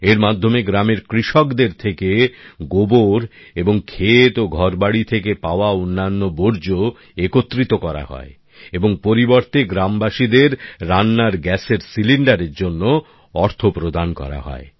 এর মাধ্যমে গ্রামের কৃষকদের থেকে গোবর এবং ক্ষেত ও ঘরবাড়ি থেকে পাওয়া অন্যান্য বর্জ্য একত্রিত করা হয় এবং পরিবর্তে গ্রামবাসীদের রান্নার গ্যাসের সিলিন্ডারের জন্য অর্থ প্রদান করা হয়